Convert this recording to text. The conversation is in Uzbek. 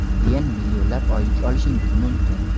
keyin millionlab oylik olishingiz mumkin.